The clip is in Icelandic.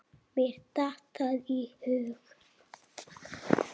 Mér datt það í hug!